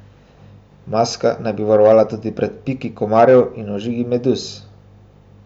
Maska naj bi varovala tudi pred piki komarjev in ožigi meduz.